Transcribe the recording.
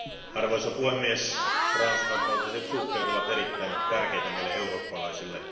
Arvoisa puhemies, transatlanttiset suhteet ovat erittäin tärkeitä meille eurooppalaisille.